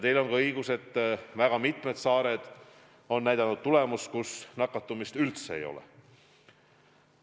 Teil on ka õigus, et väga mitmed saared on näidanud tulemust, kus nakatumist üldse ei ole.